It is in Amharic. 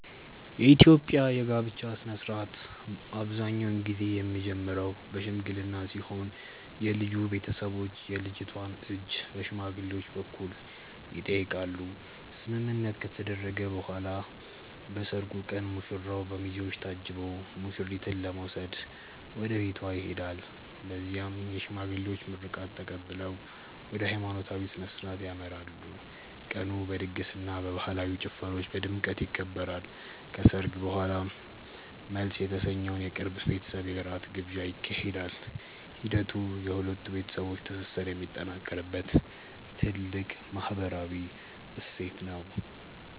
የኢትዮጵያ የጋብቻ ሥነ ሥርዓት አብዛኛውን ጊዜ የሚጀምረው በሽምግልና ሲሆን የልጁ ቤተሰቦች የልጅቷን እጅ በሽማግሌዎች በኩል ይጠይቃሉ። ስምምነት ከተደረሰ በኋላ በሰርጉ ቀን ሙሽራው በሚዜዎች ታጅቦ ሙሽሪትን ለመውሰድ ወደ ቤቷ ይሄዳል። በዚያም የሽማግሌዎች ምርቃት ተቀብለው ወደ ሃይማኖታዊ ሥነ ሥርዓት ያመራሉ። ቀኑ በድግስና በባህላዊ ጭፈራዎች በድምቀት ይከበራል። ከሰርግ በኋላም መልስ የተሰኘው የቅርብ ቤተሰብ የራት ግብዣ ይካሄዳል። ሂደቱ የሁለት ቤተሰቦች ትስስር የሚጠናከርበት ትልቅ ማህበራዊ እሴት ነው።